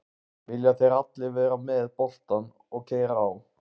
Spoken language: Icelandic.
Vilja þeir allir vera með boltann og keyra á?